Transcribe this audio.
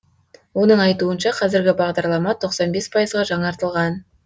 оның айтуынша қазіргі бағдарлама тоқсан бес пайызға жаңартылған